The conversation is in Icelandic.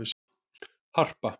Harpa